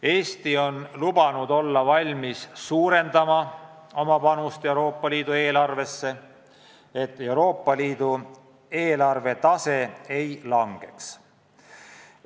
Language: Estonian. Eesti on lubanud olla valmis suurendama oma panust Euroopa Liidu eelarvesse, et Euroopa Liidu eelarve maht ei kahaneks.